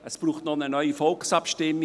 Es braucht eine neue Volksabstimmung.